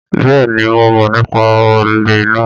Bẹ́ẹ̀ ni, mo mọ̀ nípa olè náà